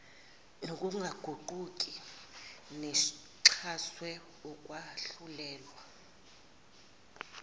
ngokungaguquki nexhaswe ukwahlulelwa